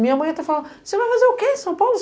Minha mãe até falava, você vai fazer o quê em São Paulo?